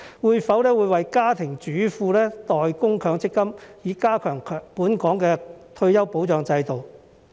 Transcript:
會否為家庭主婦代供強積金，以加強本港的退休保障制度？